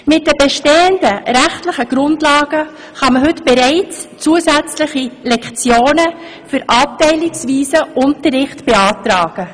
Mit den bestehenden rechtlichen Grundlagen kann man heute bereits zusätzliche Lektionen für abteilungsweisen Unterricht beantragen.